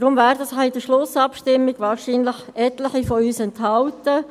Deshalb werden sich in der Schlussabstimmung wahrscheinlich etliche von uns enthalten.